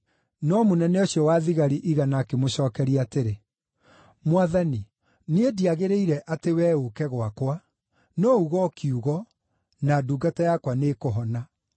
No mũnene ũcio wa thigari igana akĩmũcookeria atĩrĩ, “Mwathani, niĩ ndiagĩrĩire atĩ wee ũũke gwakwa. No uga o kiugo, na ndungata yakwa nĩĩkũhona.